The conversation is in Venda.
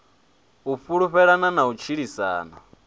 u fhulufhelana na u tshilisana